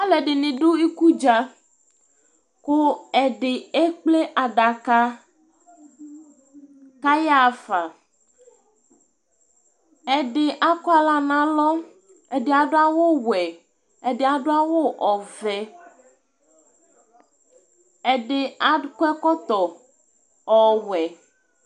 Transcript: Alu ɛdini du ikudza ku ɛdi ekple adaka kayafa ɛdi akɔ aɣla nalɔ ɛdi adu awu ɔwɛ ɛdi adu awu ɔvɛ ɛdi akɔ ɛkɔtɔ ɔwɛ